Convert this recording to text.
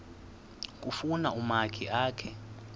kufuna umakhi akhe